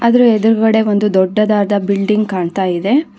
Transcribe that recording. ಅದರ ಎದ್ರುಗಡೆ ಒಂದು ದೊಡ್ಡದಾದ ಬಿಲ್ಡಿಂಗ್ ಕಾಣ್ತಾ ಇದೆ.